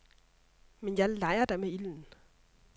Men jeg leger da med ilden.